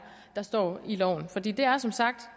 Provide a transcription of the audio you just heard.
der står i loven for det det er som sagt